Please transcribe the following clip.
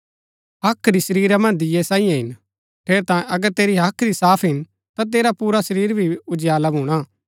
हाख्री शरीरा मन्ज दीये सांईयै हिन ठेरैतांये अगर तेरी हाख्री साफ हिन ता तेरा पुरा शरीर भी उजियाला भूणा